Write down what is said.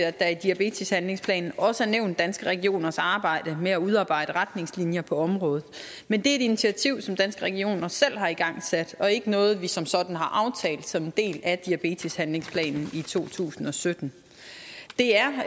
at der i diabeteshandlingsplanen også er nævnt danske regioners arbejde med at udarbejde retningslinjer på området men det er et initiativ som danske regioner selv har igangsat og ikke noget vi som sådan har aftalt som en del af diabeteshandlingsplanen i to tusind og sytten det er